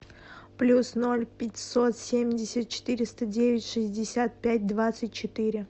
плюс ноль пятьсот семьдесят четыреста девять шестьдесят пять двадцать четыре